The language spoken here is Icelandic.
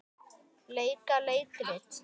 Leika leikrit